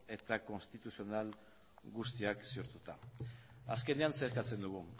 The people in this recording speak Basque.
eta konstituzional guztiak ziurtatuta azkenean zer eskatzen dugu